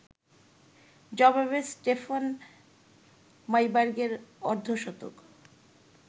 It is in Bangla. জবাবে স্টেফান মাইবার্গের অর্ধশতক